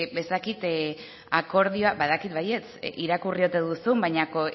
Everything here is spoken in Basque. ez dakit akordioa badakit baietz irakurri ote duzun baina